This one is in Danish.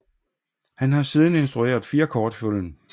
Han har siden instrueret fire kortfilm